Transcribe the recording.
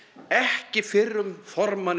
ekki fyrrum formanni